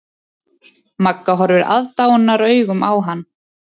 Magga horfir aðdáunaraugum á hann.